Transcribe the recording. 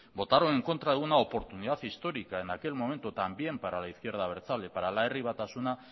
votaron en contra de una oportunidad histórica en aquel momento también para la izquierda abertzale para la herri batasuna